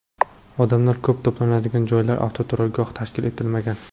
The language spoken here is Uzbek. Odamlar ko‘p to‘planadigan joylarda avtoturargoh tashkil etilmagan.